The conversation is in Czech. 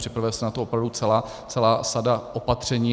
Připravuje se na to opravdu celá sada opatření.